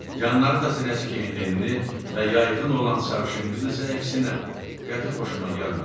Yanları da sinəsi kimi enli və yayxın olan sarışın qız isə əksinə qəti xoşuma gəlmədi.